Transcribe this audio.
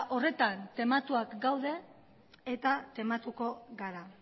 horretan tematuak gaude eta tematuko gara